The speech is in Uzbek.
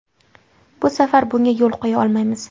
Bu safar bunga yo‘l qo‘ya olmaymiz.